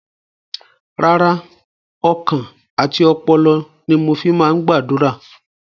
Rárá, ọkàn àti ọpọlọ ni mo fi máa ń gbàdúrà.